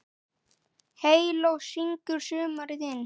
Heyló syngur sumarið inn